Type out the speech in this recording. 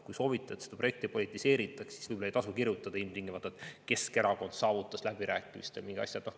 Kui te soovite, et seda projekti ei politiseeritaks, siis võib-olla ei tasu ilmtingimata kirjutada, et Keskerakond saavutas läbirääkimistel mingi asja.